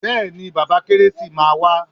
Bẹ́ẹ̀ni bàbà kérésì máa wá.